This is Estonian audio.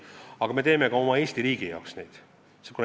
Aga me teeme neid muudatusi ka oma Eesti riigi huvides.